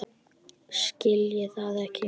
Skil það ekki enn.